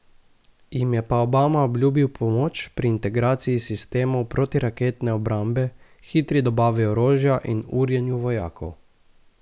Jim je pa Obama obljubil pomoč pri integraciji sistemov protiraketne obrambe, hitri dobavi orožja in urjenju vojakov.